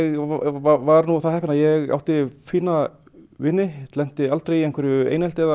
var nú það heppinn að ég átti fína vini lenti aldrei í einhverju einelti eða